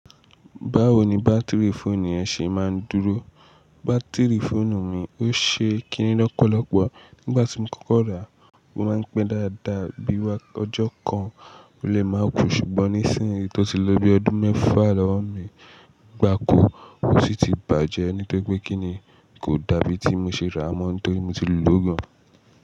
Báwo ni bátìrì fóònù yẹn ṣe máa ń dúró? Bátìrì fóònù mi ó ṣe kíni lọ́pọ̀lọpọ̀. Nígbà tí mo kọ́kọ́ rà, o máa ń pẹ́ dáadáa, bí wá, ọjọ́ kan, ò lè máa kú, ṣùgbọ́n nísìnyí tó ti lo bi ọdún mẹ́fà lọ́wọ́ mi gbá kú, ó sì ti bàjẹ́, nítóri pé kíni kò dàbí tí mo ṣe ràá mọ́, nítorí mo ti lò gan.